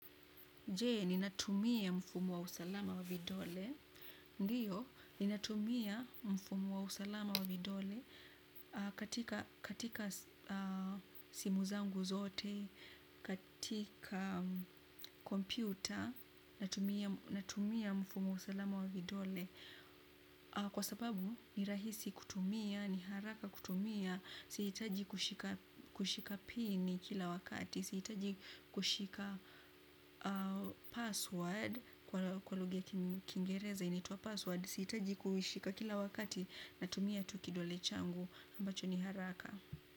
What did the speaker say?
Jee, ninatumia mfumo wa usalama wa vidole. Ndiyo, ninatumia mfumu wa usalama wa vidole katika simu zangu zote, katika kompyuta, natumia mfumu wa usalama wa vidole. Kwa sababu, ni rahisi kutumia, ni haraka kutumia, siitaji kushika pini kila wakati. Siitaji kushika password kwa luga ya kingereza inituwa password siitaji kushika kila wakati na tumia tuki dole changu ambacho ni haraka.